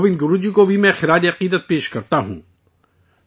گووند گرو جی کو بھی میں اپنا خراج عقیدت پیش کرتا ہوں